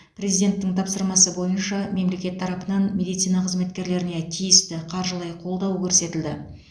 президенттің тапсырмасы бойынша мемлекет тарапынан медицина қызметкерлеріне тиісті қаржылай қолдау көрсетілді